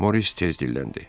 Moris tez dilləndi.